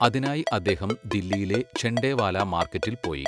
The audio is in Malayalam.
അതിനായി അദ്ദേഹം ദില്ലിയിലെ ഝണ്ടേവാലാ മാർക്കറ്റിൽ പോയി.